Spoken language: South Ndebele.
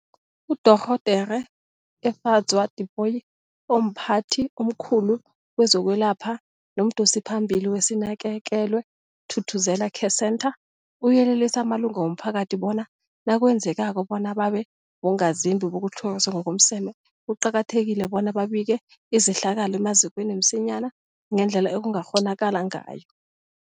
UDorh Efadzwa Tipoy, omphathi omkhulu kezokwelapha nomdosiphambili weSinakekelwe Thuthuzela Care Centre, uyelelise amalunga womphakathi bona nakwenzekako bona babe bongazimbi bokutlhoriswa ngokomseme, kuqakathekile bona babike izehlakalo emazikweni msinyana ngendlela ekungakghonakala ngayo.